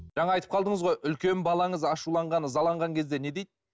жаңа айтып қалдыңыз ғой үлкен балаңыз ашуланған ызаланған кезде не дейді